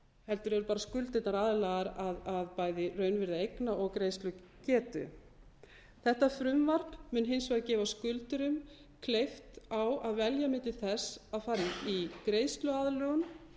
heldur eru bara skuldirnar aðlagaðar að bæði raunvirði eigna og greiðslugetu þetta frumvarp mun hins vegar gefa skuldurum kleift á að velja milli þess að fara í greiðsluaðlögun